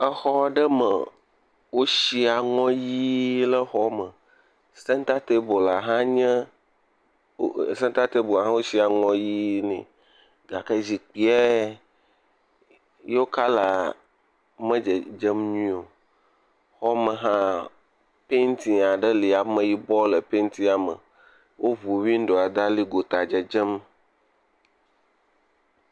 Exɔ aɖe me wosi aŋɔ ʋi le xɔme sentatable la hã nye …sentatable hã wosi aŋɔ ʋi ne, gake zikpuie yewo kɔla me dzedzem nyuie o, xɔme hã painti aɖe le ameyibɔ le paintia me woŋu windoa da ɖi xe me dzedzem.